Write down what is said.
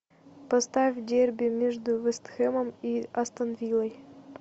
поставь дерби между вест хэмом и астон виллой